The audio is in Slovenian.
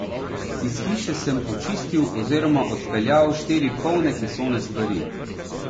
Iz hiše sem počistil oziroma odpeljal štiri polne kesone stvari.